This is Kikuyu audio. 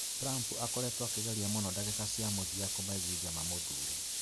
Trump akoretwo akĩgeria mũno ndagĩka cia mũthia kũmeiguithia mamũthuure.